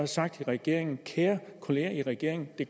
sagt til regeringen kære kolleger i regeringen det